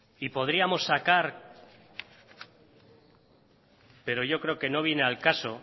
y podríamos sacar pero yo creo que no viene al caso